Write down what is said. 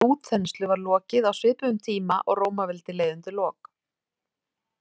Þessari útþenslu var lokið á svipuðum tíma og Rómaveldi leið undir lok.